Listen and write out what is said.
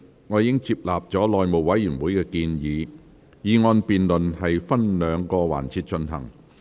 我已接納內務委員會的建議，議案辯論分兩個環節進行。